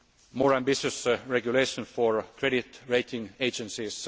more ambitious regulation for credit rating agencies